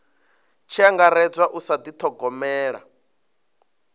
tshi angaredzwa u sa dithogomela